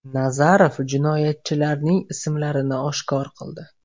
Nazarov jinoyatchilarning ismlarini oshkor qildi.